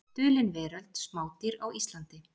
Dulin veröld: Smádýr á Íslandi.